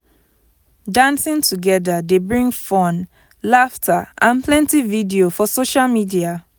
dancing together dey bring fun laughter and plenty video for social media.